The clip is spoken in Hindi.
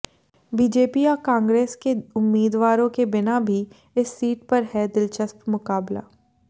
बीजेपी और कांग्रेस के उम्मीदवारों के बिना भी इस सीट पर है दिलचस्प मुकाबला